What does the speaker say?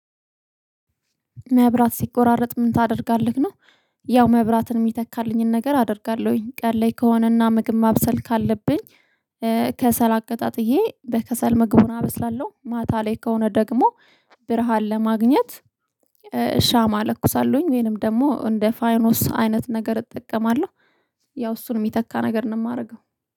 መብራት ሲቆራረጥ ምን ታደርጋለህ ነው። ያው መብራትን እሚተካልኝን ነገር አደርጋለሁኝ ቀን ላይ ከሆነና ምግብ ማብሰል ካለብኝ ከሰል አቀጣጥዬ በከሰል ምግቡን አብስላለሁ። ማታ ላይ ከሆነ ደግሞ ብርሃን ለማግኘት ሻማ እለኩሳለሁኝ ወይንም ደግሞ እንደ ፋኖስ አይነት ነገር እጠቀማለሁ። ያው እሱን እሚተካ ነገር ነው እማረገው